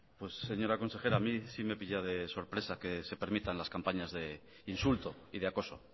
pues señora consejera a mí sí me pilla de sorpresa que se permitan las campañas de insulto y de acoso